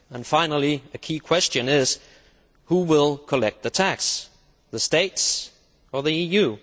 Finally, the key question is who will collect the tax the Member States or the EU?